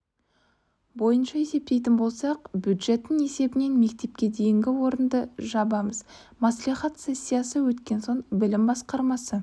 бойынша есептейтін болсақ бюджеттің есебінен мектепке дейінгі орынды жабамыз мәслихат сессиясы өткен соң білім басқармасы